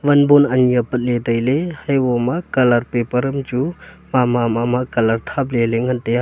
wan bulb ani apat ley ley tai ley eboma colour paper am chu mama mama colour ngan tai a.